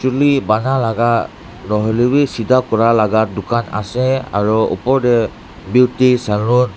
Chuli bana laga nohoilevi sidha kura laga dukhan ase aro opor dae beauty Salon --